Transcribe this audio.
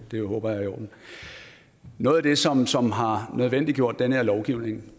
det håber jeg er i orden noget af det som som har nødvendiggjort den her lovgivning